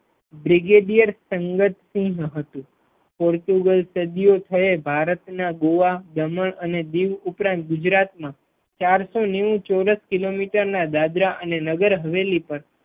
brigadier Sadat સિંહ હતું Portugal સદીયોથી ભારતના ગોવા દમણ અને દીવ ઉપરાંત પણ ગુજરાત મા ચારસો નેવું ચોરસ કિલોમીટર દાદરા અને નગરહવેલી પર